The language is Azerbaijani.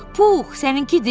Pux, səninkidir?